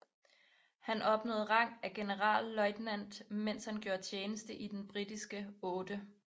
Han opnåede rang af generalløjtnant mens han gjorde tjeneste i den britiske 8